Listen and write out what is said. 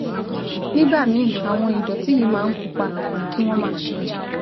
Nígbà míì, àwọn ìdọ̀tí yìí máa ń pupa tàbí kí wọ́n máa ṣẹ̀jẹ̀